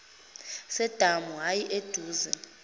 sedamu ayi aduze